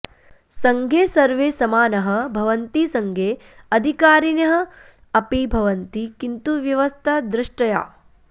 सङ्घे सर्वे समानाः भवन्ति सङ्घे अधिकारिणः अपि भवन्ति किन्तु व्यवस्था द्रष्टया